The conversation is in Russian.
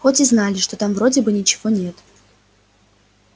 хоть и знали что там вроде бы ничего нет